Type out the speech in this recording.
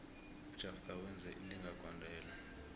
ujafter wenze ilinga gondelo